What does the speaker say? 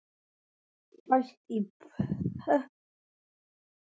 Fæst í pökkum í næsta stórmarkaði.